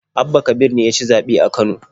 Abba kabir ne ya ci zaɓe a Kano.